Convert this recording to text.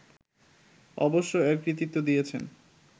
অবশ্য এর কৃতিত্ব দিয়েছেন